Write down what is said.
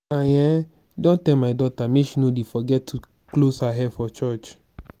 i um don tell my daughter make she no dey forget to close her hair for church